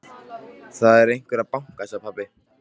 Það er einhver að banka, sagði pabbi.